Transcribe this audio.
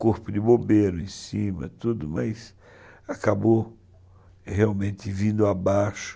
Corpo de bombeiro em cima, tudo, mas acabou realmente vindo abaixo.